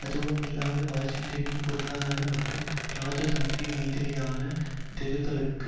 அதுவுமில்லாமல் வாஷிங்டனின் பொருளாதார மற்றும் ராஜதந்திர ரீதியிலான நெருக்குதலுக்கு